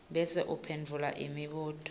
bese uphendvula imibuto